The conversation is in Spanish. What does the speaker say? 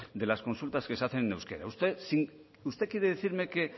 de las consultas que se hacen en euskera usted quiere decirme que